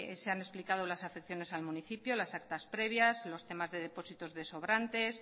se han explicado las afecciones al municipio las actas previas los temas de depósitos de sobrantes